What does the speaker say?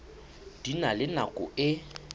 di na le nako e